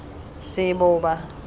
seboba